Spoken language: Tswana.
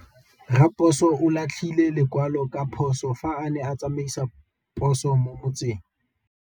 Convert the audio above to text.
Raposo o latlhie lekwalô ka phosô fa a ne a tsamaisa poso mo motseng.